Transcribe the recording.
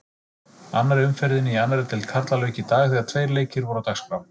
Annarri umferðinni í annarri deild karla lauk í dag þegar tveir leikir voru á dagskrá.